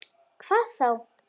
Hvað þá!